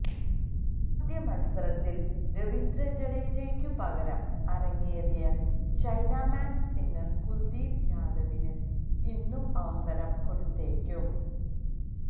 ആദ്യ മത്സരത്തിൽ രവീന്ദ്ര ജദേജക്കു പകരം അരങ്ങേറിയ ചൈനാമാൻ സ്പിന്നർ കുൽദീപ് യാദവിന് ഇന്നും അവസരം കൊടുത്തേക്കും